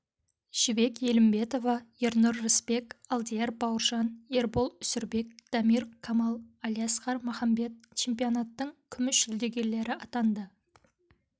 жібек елімбетова ернұр рысбек алдияр бауыржан ербол үсенбек дамир камал алиасқар махамбет чемпионаттың күміс жүлдегерлері атанды